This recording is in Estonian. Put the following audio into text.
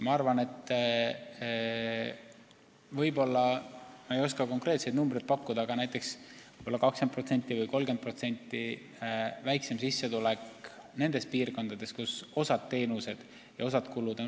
Ma ei oska konkreetseid numbreid pakkuda, aga nendes piirkondades, kus osa teenuseid saab odavamalt ja osa kulusid on väiksemad, võivad olla näiteks 20% või 30% väiksemad sissetulekud.